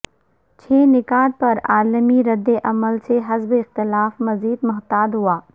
چھ نکات پر عالمی ردعمل سے حزب اختلاف مزید محتاط ہوا